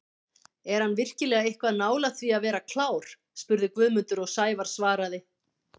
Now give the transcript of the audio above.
Er hann virkilega eitthvað nálægt því að vera klár? spurði Guðmundur og Sævar svaraði: